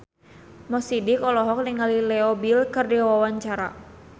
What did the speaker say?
Mo Sidik olohok ningali Leo Bill keur diwawancara